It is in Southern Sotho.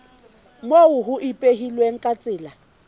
moo ho ipehilweng ka tsela